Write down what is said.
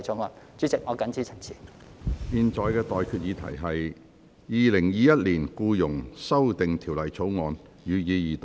我現在向各位提出的待決議題是：《2021年僱傭條例草案》，予以二讀。